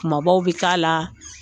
Kumabaw bɛ k'a la